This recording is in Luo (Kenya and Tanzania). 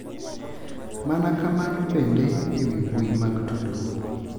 Mana kamano bende e wi mbui mag tudruok.